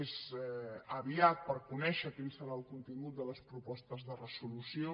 és aviat per conèixer quin serà el contingut de les propostes de resolució